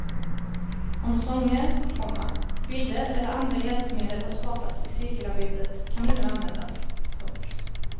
Om sånger, komma bilder eller andra hjälpmedel har skapats i cirkelarbetet kan de nu användas. punkt